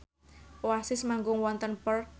Oasis manggung wonten Perth